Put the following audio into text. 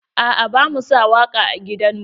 A'a bamu sa waƙa a gidan mu.